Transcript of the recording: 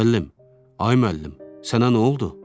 Müəllim, ay müəllim, sənə nə oldu?